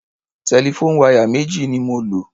Telephone wire méjì ni mo lò.